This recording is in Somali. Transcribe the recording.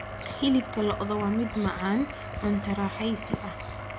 Hilibka lo'da waa mid macaan, cunto raaxaysi ah.